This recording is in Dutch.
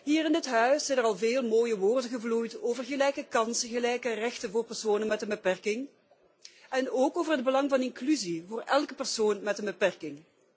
Hier in dit huis zijn er al veel mooie woorden geuit over gelijke kansen, gelijke rechten voor personen met een beperking en ook over het belang van inclusie voor elke persoon met een beperking.